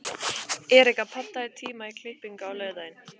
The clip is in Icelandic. Erika, pantaðu tíma í klippingu á laugardaginn.